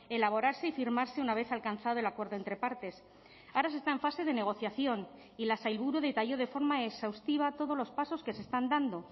elaborarse y firmarse una vez alcanzado el acuerdo entre partes ahora se está en fase de negociación y la sailburu detalló de forma exhaustiva todos los pasos que se están dando